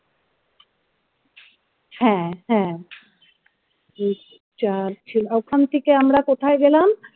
হ্যা হ্যা ওখান থেকে আমরা কোথায় গেলাম?